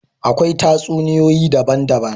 Akwai tatsuniyoyi daban daban